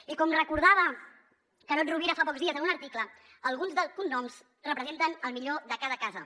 i com recordava carod rovira fa pocs dies en un article alguns dels cognoms representen el millor de cada casa